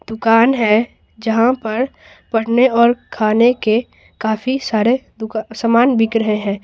दुकान है जहां पर पढ़ने और खाने के काफी सारे दुक सामान बिक रहे हैं।